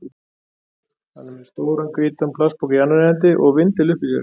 Hann er með stóran, hvítan plastpoka í annarri hendi og vindil uppi í sér.